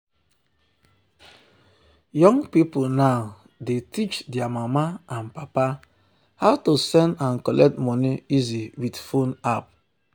young people now dey teach their mama and papa how to send and collect money easy with phone app.